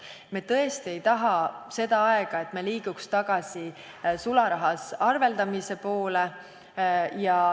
Me tõesti ei taha seda, et me liiguksime tagasi sularahas arveldamise poole.